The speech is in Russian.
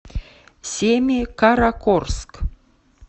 семикаракорск